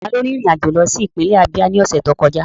Taló rin ìrìn àjò lọ sí ìpínlẹ̀ Ábíá ní ọ̀sẹ̀ tó kọjá?